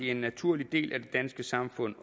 en naturlig del af det danske samfund